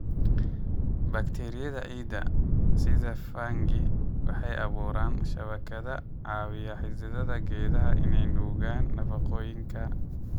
Bakteeriyada ciidda, sida fungi, waxay abuuraan shabakado caawiya xididdada geedaha inay nuugaan nafaqooyinka.